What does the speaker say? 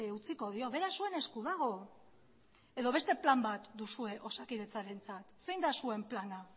utziko dio beraz zuen esku dago edo beste plan bat duzue osakidetzarentzat zein da zuen plana